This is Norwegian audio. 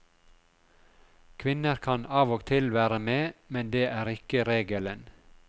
Kvinner kan av og til være med, men det er ikke regelen.